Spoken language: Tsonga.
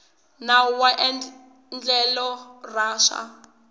nawu wa endlelo ra swa